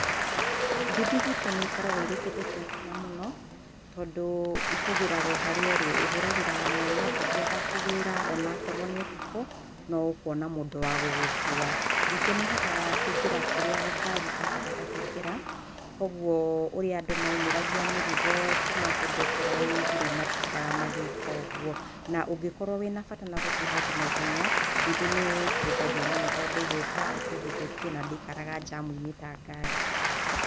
Nduthi gwitũ nĩ ikoragwo irĩ kĩndũ gĩa bata mũno tondũ ikũgĩraga o harĩa ũrĩ. ũhũragĩra mwene nduthi agakũgĩra ona akorwo nĩ ũtukũ no ũkuona mũndũ wa gũgũkua. Ningĩ nĩ ihotaga kũingĩra kũria ngari itahotaga kũingĩra, kũoguo ũrĩa andũ maumĩragia mĩrigo kuma kũndũ kũraaihu rĩu matitindaga magĩka ũguo. Na ũngĩkorwo wĩnabata na gũthiĩ handũ na ihenya, nduthi nĩ ĩteithagia mũno tondũ ĩgũka ĩkũguthũkie na ndĩikaraga njamu-inĩ ta ngari.